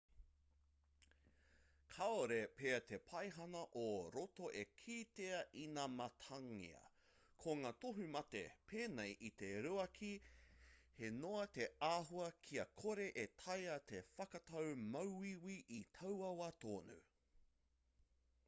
kāore pea te paihana ō roto e kitea inamatangia ko ngā tohu mate pēnei i te ruaki he noa te āhua kia kore e taea te whakatau māuiui i taua wā tonu